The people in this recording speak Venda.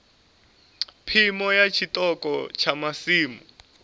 phimo ya tshiṱoko tsha masimu